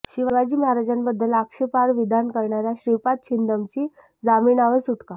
शिवाजी महाराजांबद्दल आक्षेपार्ह विधान करणाऱ्या श्रीपाद छिंदमची जामिनावर सुटका